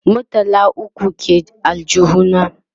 murtala ukwu ke aljihu na